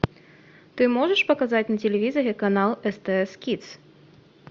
ты можешь показать на телевизоре канал стс кидс